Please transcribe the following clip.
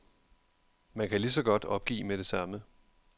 Man kan lige så godt opgive med det samme.